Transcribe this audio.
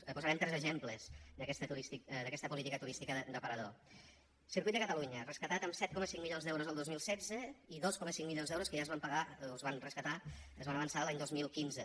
en posarem tres exemples d’aquesta política turística d’aparador circuit de catalunya rescatat amb set coma cinc milions d’euros el dos mil setze i dos coma cinc milions d’euros que ja es van pagar o es van rescatar es van avançar l’any dos mil quinze